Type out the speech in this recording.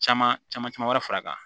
Caman caman wɛrɛ fara a kan